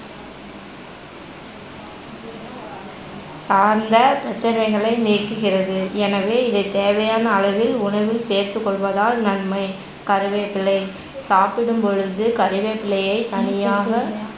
சார்ந்த பிரச்சனைகளை நீக்குகிறது எனவே இதை தேவையன அளவில் உணவில் சேர்த்து கொள்வதால் நன்மை. கருவேப்பிலை சாப்பிடும்பொழுது கருவேப்பிலையை தனியாக